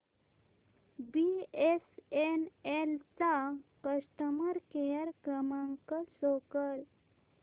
BSNL चा customer care क्रमांक show कर